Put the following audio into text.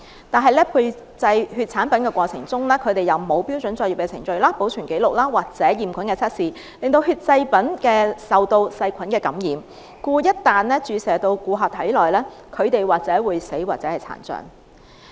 但是，在配製血液產品的過程中，他們沒有遵照標準作業的程序、保存紀錄或驗菌測試，令血液製品受到細菌感染，故一旦注射至顧客的體內，或會導致死亡或殘障。